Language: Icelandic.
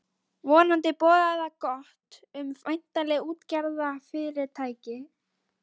Vonandi boðaði það gott um væntanlegt útgerðarfyrirtæki.